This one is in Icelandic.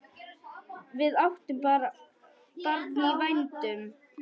Við áttum barn í vændum.